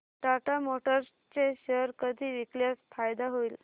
Tata Motors चे share कधी विकल्यास फायदा होईल